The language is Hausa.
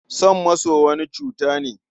Son maso wani cuta ne.